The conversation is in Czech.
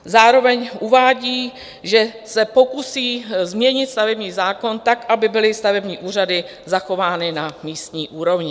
Zároveň uvádí, že se pokusí změnit stavební zákon tak, aby byly stavební úřady zachovány na místní úrovni.